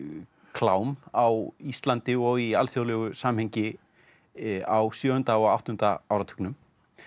klám á Íslandi og í alþjóðlegu samhengi á sjöunda og áttunda áratugnum